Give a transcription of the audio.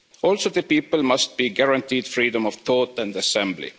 Also, the people must be guaranteed freedom of thought and assembly.